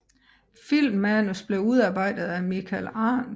Filmmanus blev udarbejdet af Michael Arndt